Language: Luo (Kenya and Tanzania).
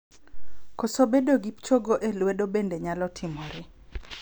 Koso bedo gi chogo e lwedo bende nyalo timore.